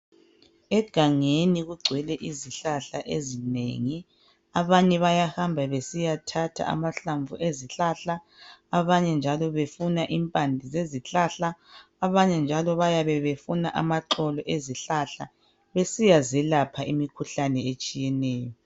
egangeni kugcwele izihlahla ezinengi abanye bayahamba besiyathatha amahlamvu ezihlahla abanye njalo befuna impande zezihlahla abanye njalo bayabe befuna amaxolo ezihlahla besiya zalapha imikhuhlane etshiyeneyo